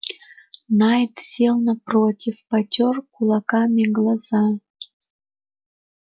найд сел напротив потёр кулаками глаза